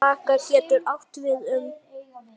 Vaka getur átt við um